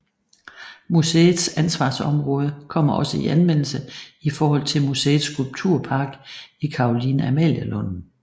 Museets ansvarsområde kommer også i anvendelse i forhold til museets skulpturpark i Caroline Amalie Lunden